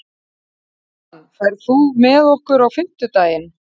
Dagmann, ferð þú með okkur á fimmtudaginn?